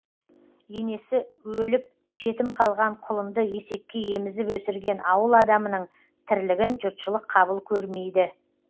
енесі өліп жетім қалған құлынды есекке емізіп өсірген ауыл адамының тірлігін жұртшылық қабыл көрмейді